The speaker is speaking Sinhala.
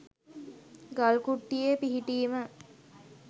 ගල් කුට්ටියේ පිහිටීම